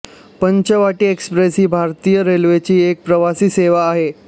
Panchavati express ही भारतीय रेल्वेची एक प्रवासी सेवा आहे